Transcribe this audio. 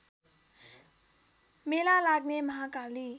मेला लाग्ने महाकाली